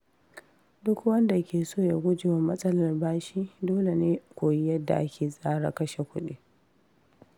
Duk wanda ke so ya guje wa matsalar bashi, dole ne ya koyi yadda ake tsara kashe kuɗi.